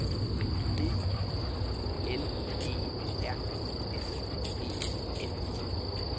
E I L E R S E N